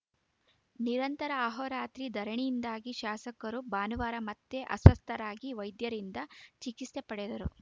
ನಿರಂತರ ಆಹೋರಾತ್ರಿ ಧರಣಿಯಿಂದಾಗಿ ಶಾಸಕರು ಭಾನುವಾರ ಮತ್ತೆ ಅಸ್ವಸ್ಥರಾಗಿ ವೈದ್ಯರಿಂದ ಚಿಕಿತ್ಸೆ ಪಡೆದರು